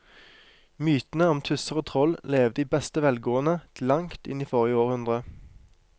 Mytene om tusser og troll levde i beste velgående til langt inn i forrige århundre.